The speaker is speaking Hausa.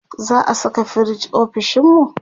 za'a Saka firij ofishinmu?